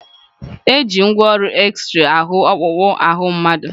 Eji ngwaọrụ exrey ahụ ọkpụkpụ ahụ mmadụ.